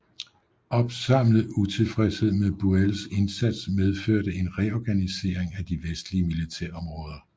Opsamlet utilfredshed med Buells indsats medførte en reorganisering af de vestlige militærområder